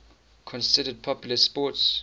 considered popular sports